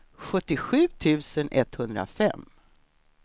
sjuttiosju tusen etthundrafem